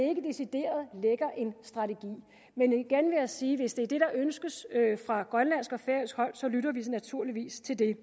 ikke decideret en strategi men igen vil jeg sige at hvis det er det der ønskes fra grønlandsk og færøsk hold så lytter vi naturligvis til det